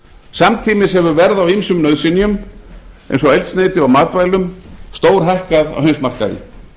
samtímis hefur verð á ýmsum nauðsynjum eins og eldsneyti og matvælum stórhækkað á heimsmarkaði